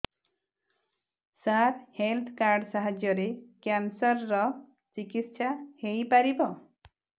ସାର health card ସାହାଯ୍ୟରେ cancer ର ଚିକିତ୍ସା ହେଇପାରିବ